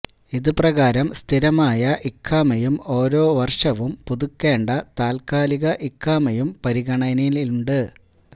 ഇതുപ്രകാരം സ്ഥിരമായ ഇഖാമയും ഓരോ വർഷവും പുതുക്കേണ്ട താൽക്കാലിക ഇഖാമയും പരിഗണനയിലുണ്ട്